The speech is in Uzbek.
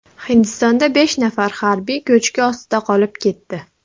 Hindistonda besh nafar harbiy ko‘chki ostida qolib ketdi.